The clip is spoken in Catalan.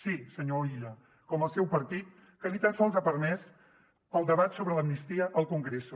sí senyor illa com el seu partit que ni tan sols ha permès el debat sobre l’amnistia al congreso